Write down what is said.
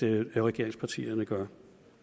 regeringspartierne gør